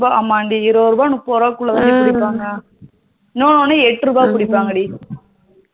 ஆமாண்டி இருபதுருபா முப்பது ரூபாகுள்ளதண்டி பிடிப்பாங்க இன்னொன்னு எட்டு ரூபா பிடிப்பாங்க டி